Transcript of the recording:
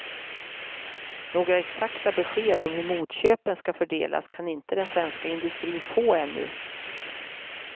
Några exakta besked om hur motköpen ska fördelas kan inte den svenska inustrin få ännu.